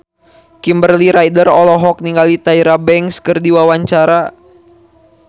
Kimberly Ryder olohok ningali Tyra Banks keur diwawancara